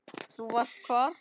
Þú varst hvar?